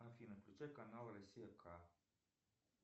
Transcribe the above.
афина включи канал россия к